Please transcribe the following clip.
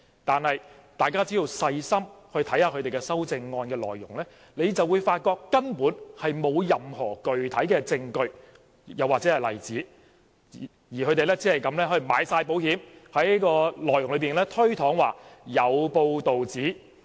然而，大家只要細心看看修正案內容，就會發覺根本沒有提出任何具體證據或例子，他們只是"買保險"，在內容內推搪說"有報道指"。